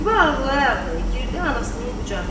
Ziba ağlaya-ağlaya girdi anasının qucağına.